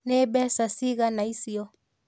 Nĩ mbeca cigana icio?